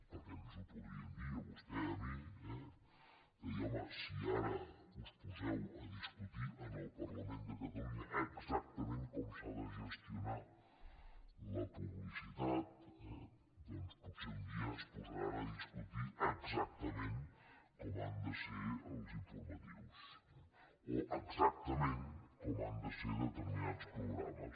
perquè ens ho podrien dir a vostè i a mi eh de dir home si ara us poseu a discutir en el parlament de catalunya exactament com s’ha de gestionar la publicitat doncs potser un dia es posaran a discutir exactament com han de ser els informatius o exactament com han de ser determinats programes